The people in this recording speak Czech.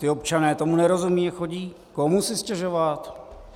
Ti občané tomu nerozumějí a chodí komu si stěžovat?